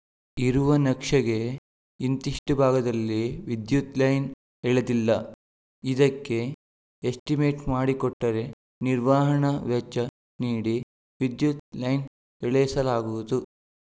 ಇರುವ ನಕ್ಷೆಗೆ ಇಂತಿಷ್ಟುಭಾಗದಲ್ಲಿ ವಿದ್ಯುತ್‌ ಲೈನ್‌ ಎಳೆದಿಲ್ಲ ಇದಕ್ಕೆ ಎಸ್ಟಿಮೇಟ್‌ ಮಾಡಿಕೊಟ್ಟರೆ ನಿರ್ವಹಣಾ ವೆಚ್ಚ ನೀಡಿ ವಿದ್ಯುತ್‌ ಲೈನ್‌ ಎಳೆಸಲಾಗುವುದು